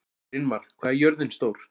Brynmar, hvað er jörðin stór?